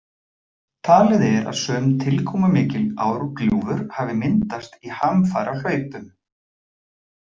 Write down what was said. Talið er að sum tilkomumikil árgljúfur hafi myndast í hamfarahlaupum.